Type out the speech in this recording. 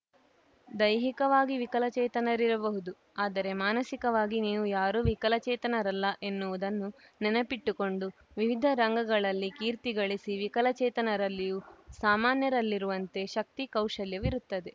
ದೈಹಿಕವಾಗಿ ವಿಕಲಚೇತನರಿರಬಹುದು ಆದರೆ ಮಾನಸಿಕವಾಗಿ ನೀವು ಯಾರೂ ವಿಕಲಚೇತನರಲ್ಲ ಎನ್ನುವುದನ್ನು ನೆನಪಿಟ್ಟುಕೊಂಡು ವಿವಿಧ ರಂಗಗಳಲ್ಲಿ ಕೀರ್ತಿಗಳಿಸಿ ವಿಕಲಚೇತನರಲ್ಲಿಯೂ ಸಾಮಾನ್ಯರಲ್ಲಿರುವಂತೆ ಶಕ್ತಿ ಕೌಶಲ್ಯವಿರುತ್ತದೆ